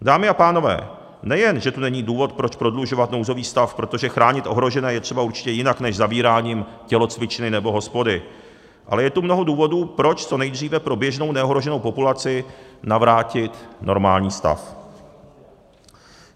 Dámy a pánové, nejen že to není důvod, proč prodlužovat nouzový stav, protože chránit ohrožené je třeba určitě jinak než zavíráním tělocvičny nebo hospody, ale je tu mnoho důvodů, proč co nejdříve pro běžnou neohroženou populaci navrátit normální stav.